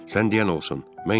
sən deyən olsun.